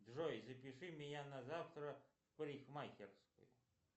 джой запиши меня на завтра в парикмахерскую